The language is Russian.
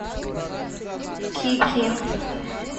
ки ки